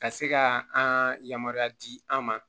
Ka se ka an yamaruya di an ma